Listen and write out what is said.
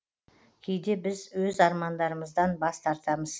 кейде біз өз армандарымыздан бас тартамыз